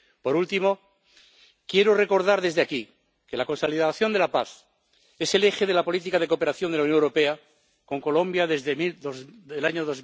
Por último, quiero recordar desde aquí que la consolidación de la paz es el eje de la política de cooperación de la Unión Europea con Colombia desde el año